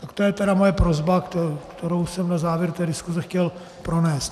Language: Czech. Tak to je tedy moje prosba, kterou jsem na závěr té diskuse chtěl pronést.